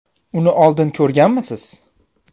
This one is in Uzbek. Uni oldin ko‘rganmisiz?